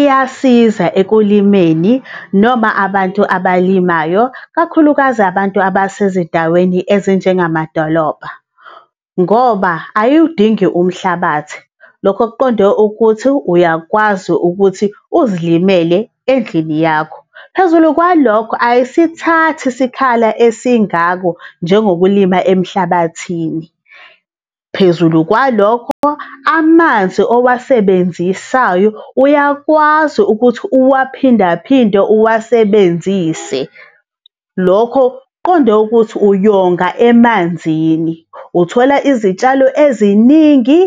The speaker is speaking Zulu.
iyasiza ekulimeni noma abantu abalimayo kakhulukazi abantu abasezindaweni ezinjengamadolobha, ngoba ayiwudingi umhlabathi. Lokhu kuqonde ukuthi uyakwazi ukuthi uzilimele endlini yakho. Phezulu kwalokho, ayisithathi isikhala esingakho, njengokulima emhlabathini. Phezulu kwalokho, amanzi owasebenzisayo uyakwazi ukuthi uwaphinda phinde uwasebenzise. Lokho kuqonde ukuthi uyonga emanzini. Uthola izitshalo eziningi